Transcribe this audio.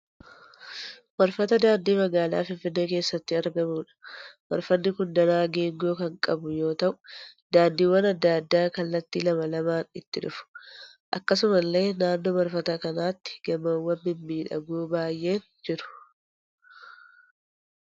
Marfata daandii magaalaa Finfinnee keessatti argamuudha. Marfati kun danaa geengoo kan qabu yoo ta'u daandiiwwan adda addaa kallatti lama lamaan itti dhufu. Akkasumallee naannoo marfata kanaatti gamoowwaan mimmiidhagoon baay'een jiru.